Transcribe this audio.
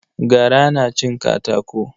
Gara na cin katako.